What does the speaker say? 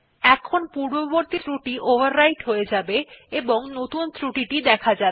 এখন পূর্ববর্তী ক্রুটি ওভাররাইট হয়ে যাবে এবং নতুন ক্রুটি দেখা যাবে